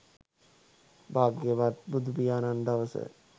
භාග්‍යවත් බුදුපියාණන් දවස